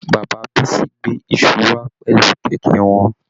Bàbá Bisi gbé iṣu wà pẹlú kẹkẹ wọn.